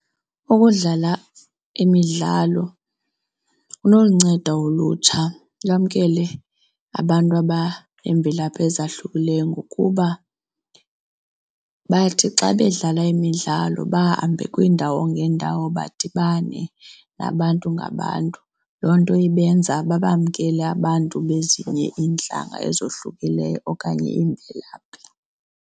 Ukudlala imidlalo kunolunceda ulutsha lamkele abantu abaneemvelaphi ezahlukileyo ngokuba bathi xa bedlala imidlalo bahambe kwiindawo ngeendawo badibane nabantu ngabantu. Loo nto ibenza babamamkele abantu bezinye iintlanga ezohlukileyo okanye iimvelaphi.